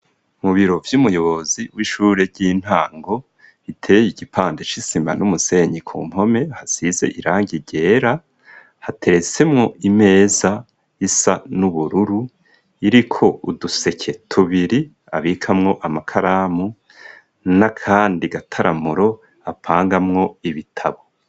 Mu biro vy'umuyobozi w'ishure ry'intango bitereye igipande c'isima n'umusenyi ku mpome hasize irangi ryera hateretsemwo imeza isa n'ubururu iriko uduseke tubiri abikamwo amakaramu nakandi gataramuro apanga mwo ibitabo.